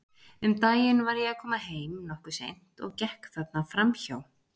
Um daginn var ég að koma heim, nokkuð seint, og gekk þarna fram hjá.